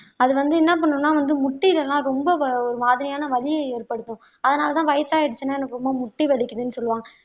அது வந்து என்ன பண்ணும்னா வந்து முட்டிலலாம் ரொம்ப ஒரு மாதிரியான வலியை ஏற்படுத்தும் அதனாலதான் வயசாயிடுச்சின்னா எனக்கு ரொம்ப முட்டி வலிக்குதுன்னு சொல்லுவாங்க